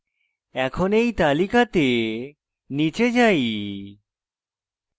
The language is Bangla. এখন তালিকা তে নীচে যাই